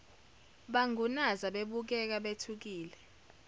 bangunaza bebukeka bethukile